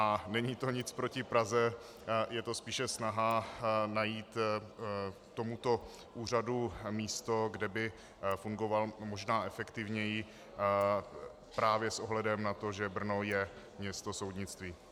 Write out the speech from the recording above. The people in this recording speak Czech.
A není to nic proti Praze, je to spíše snaha najít tomuto úřadu místo, kde by fungoval možná efektivněji právě s ohledem na to, že Brno je město soudnictví.